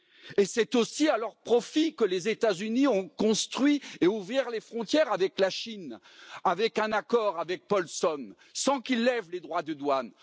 Et c'est aussi à leur profit que les États Unis ont construit et ouvert les frontières avec la Chine, avec un accord, avec Paulson, sans qu'ils lèvent de droits de douane.